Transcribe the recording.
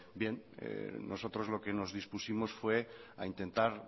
nosotros lo que nos dispusimos fue a intentar